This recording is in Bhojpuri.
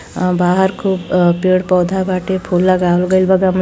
अ बाहर खूब अ पेड़ पौधा बाटे फूल लागलवल गइल बा गमला --